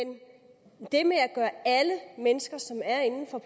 det med at gøre alle mennesker som er inden for